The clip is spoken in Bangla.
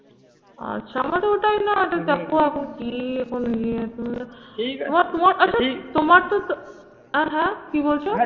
আচ্ছা আমাদের ওটাই না যে দেখো এখন কি এখন তোমার তোমার আচ্ছা তোমার তো আহ হ্যাঁ? কি বলছো?